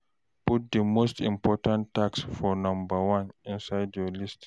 Put the most important tasks for number one inside your list